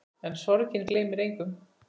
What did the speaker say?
En sorgin gleymir engum.